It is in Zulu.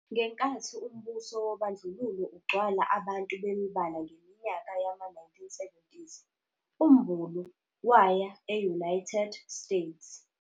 Ngenkathi umbuso wobandlululo ugcwala abantu bemibala ngeminyaka yama-1970s, uMbulu waya e-United States.